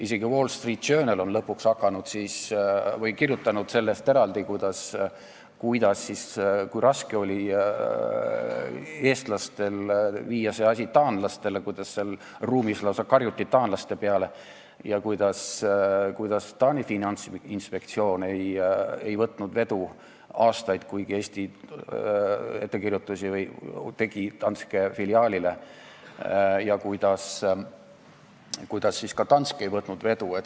Isegi Wall Street Journal on lõpuks kirjutanud sellest, kui raske oli eestlastel teha see asi taanlastele selgeks, kuidas seal ruumis lausa karjuti taanlaste peale ja kuidas Taani finantsinspektsioon ei võtnud aastaid vedu, kuigi Eesti tegi Danske filiaalile ettekirjutusi, ja kuidas ka Danske ei võtnud vedu.